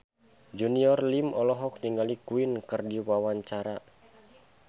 Junior Liem olohok ningali Queen keur diwawancara